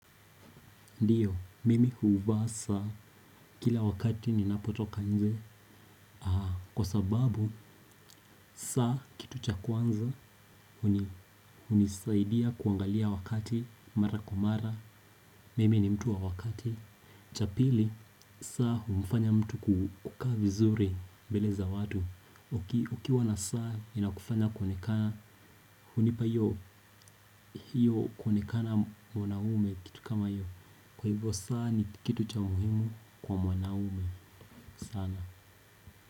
Ndiyo, mimi huuvaa saa, kila wakati ninapotoka nje. Kwa sababu, saa kitu cha kwanza, hunisaidia kuangalia wakati, mara kwa mara. Mimi ni mtu wa wakati. Cha pili, saa humufanya mtu kukaa vizuri, bele za watu. Ukiwa na saa, inakufanya kwonekana, hunipa hiyo kwonekana mwanaume kitu kama hiyo. Kwa hivyo saa ni kitu cha umuhimu kwa mwanaume sana.